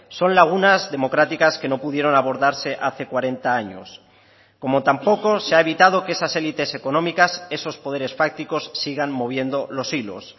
son lagunas democráticas que no pudieron abordarse hace cuarenta años como tampoco se ha evitado que esas élites económicas esos poderes fácticos sigan moviendo los hilos